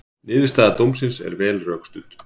Niðurstaða dómsins er vel rökstudd